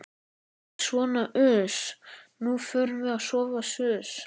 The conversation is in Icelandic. Nei sona uss, nú förum við að sofa suss.